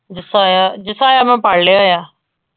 ਜਸਾਇਆ, ਜਸਾਇਆ ਮੈਂ ਪੜ੍ਹ ਲਿਆ ਆ।